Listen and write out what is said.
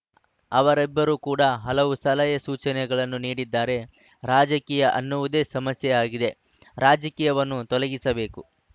ಅವರಿಬ್ಬರು ಕೂಡ ಹಲವು ಸಲಹೆ ಸೂಚನೆಗಳನ್ನು ನೀಡಿದ್ದಾರೆ ರಾಜಕೀಯ ಅನ್ನುವುದೇ ಸಮಸ್ಯೆಯಾಗಿದೆ ರಾಜಕೀಯವನ್ನು ತೊಲಗಿಸಬೇಕು